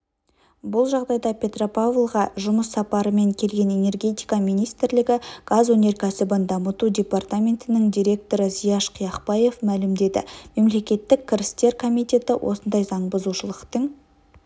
бұл жайында петропавлға жұмыс сапарымен келген энергетика министрлігі газ өнеркәсібін дамыту департаментінің директоры зияш қияқбаев мәлімдеді мемлекеттік кірістер комитеті осындай заңбұзушылықтың